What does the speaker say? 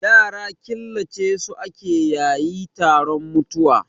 Yara killace su ake yayi taron mutuwa